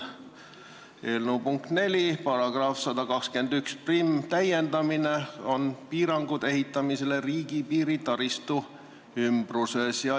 Eelnõu punkt 4 § 1211 on "Piirangud ehitamisele riigipiiri taristu ümbruses".